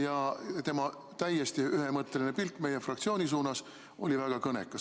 Ja tema täiesti ühemõtteline pilk meie fraktsiooni suunas oli väga kõnekas.